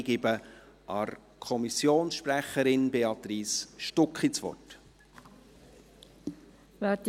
Ich gebe der Kommissionssprecherin, Béatrice Stucki, das Wort.